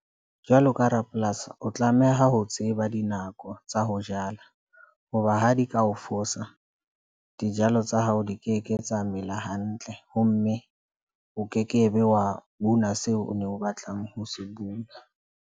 Jwalo ka rapolasi, o tlameha ho tseba dinako tsa ho jala hoba ha di ka o fosa. Dijalo tsa hao di keke tsa mela hantle ho mme o kekebe wa una seo o ne o batlang ho se bula.